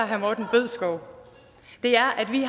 herre morten bødskov er at vi